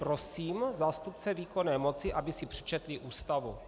Prosím zástupce výkonné moci, aby si přečetli Ústavu.